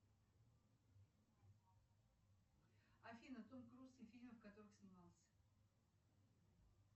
афина том круз и фильмы в которых снимался